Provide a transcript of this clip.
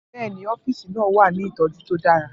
Bẹ́ẹ̀ ni, ọ́fíìsì náà wà ní ìtọ́jú tó dára.